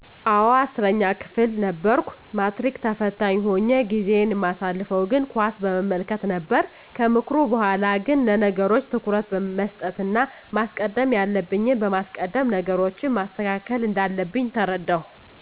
አወ 10 ክፍል ነበርኩ ማትሪክ ተፈታኝ ሁኘ ጊዜየን ማሳልፈው ግን ኳስን በመመልከት ነበር ከምክሩ በሗላ ግን ለነገሮች ትኩረት መስጠት እና ማስቀደም ያለብኝን በማስቀደም ነገሮችን ማስተካከል እንዳለብኝ ተረዳው።